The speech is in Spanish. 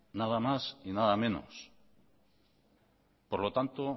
nada más y nada menos por lo tanto